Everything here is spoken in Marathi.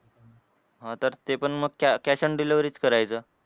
हां तर ते पण मग car cash on delivery च करायचं.